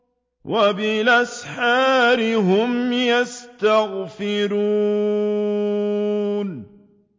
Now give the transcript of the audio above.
وَبِالْأَسْحَارِ هُمْ يَسْتَغْفِرُونَ